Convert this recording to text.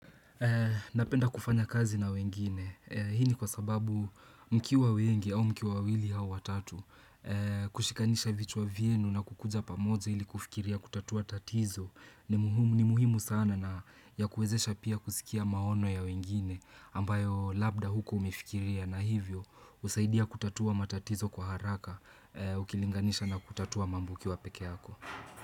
Napenda kufanya kazi na wengine, hii ni kwa sababu mkiwa wengi au mkiwa wawili au watatu, kushikanisha vichwa vyenu na kukuja pamoja ili kufikiria kutatua tatizo ni muhimu sana na ya kuwezesha pia kusikia maono ya wengine ambayo labda hukua umefikiria na hivyo husaidia kutatua matatizo kwa haraka ukilinganisha na kutatua mambo ukiwa peke yako.